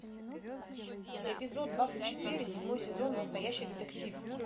эпизод двадцать четыре седьмой сезон настоящий детектив